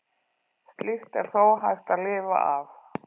Slíkt er þó hægt að lifa af.